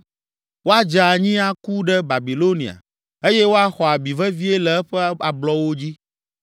Woadze anyi aku ɖe Babilonia eye woaxɔ abi vevie le eƒe ablɔwo dzi.